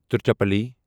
Tiruchirappalli